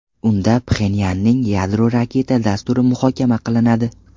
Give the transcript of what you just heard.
Unda Pxenyanning yadro-raketa dasturi muhokama qilinadi.